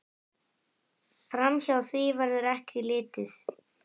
Framhjá því verður ekki litið.